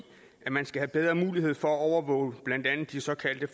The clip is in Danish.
at man skal have bedre mulighed for at overvåge blandt andet de såkaldte